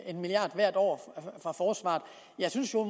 en milliard hvert år fra forsvaret jeg synes